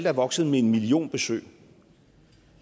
er vokset med en million besøg